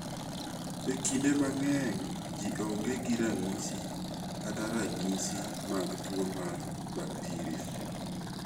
Ekinde mang'eny, ji onge gi ranyisi kata ranyisi mag tuo mar bakteria.